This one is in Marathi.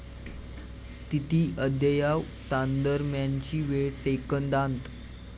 स्थिती अद्ययावतांदरम्यानची वेळ सेकंदांत